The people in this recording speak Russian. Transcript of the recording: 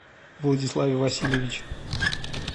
владиславе васильевиче